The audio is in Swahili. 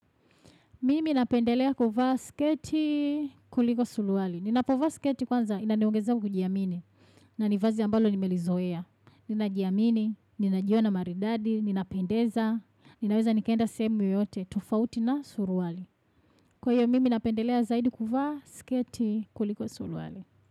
Mimi napendelea kuvaa sketi kuliko suruali. Ninapovaa sketi kwanza, inaneongezea kujiamini. Na ni vazi ambalo nimelizoea. Ninajiamini, ninajiona maridadi, ninapendeza. Ninaweza nikenda sehemu yoyote, tofauti na suruali. Kwa hiyo, mimi napendelea zaidi kuvaa sketi kuliko suruali.